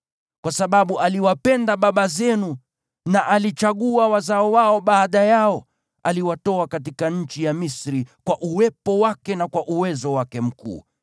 Kwa sababu aliwapenda baba zenu na alichagua wazao wao baada yao, aliwatoa katika nchi ya Misri kwa Uwepo wake na kwa uwezo wake mkuu,